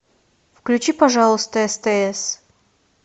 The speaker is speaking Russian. включи пожалуйста стс